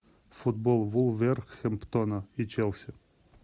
футбол вулверхэмптона и челси